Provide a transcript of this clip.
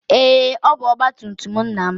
Ee, ọ bụ ọgba tum tum nna m.